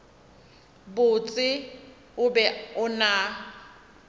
botse o be o na